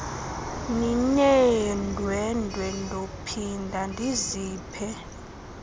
nineendwendwe ndophinda ndiziphe